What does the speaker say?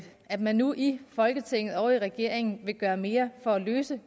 at man nu i folketinget og i regeringen vil gøre mere for at løse